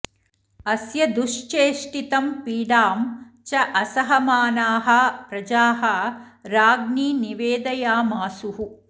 अस्य दुश्चेष्टितं पीडां च असहमानाः प्रजाः राज्ञि निवेदयामासुः